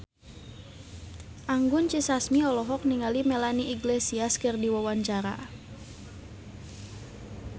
Anggun C. Sasmi olohok ningali Melanie Iglesias keur diwawancara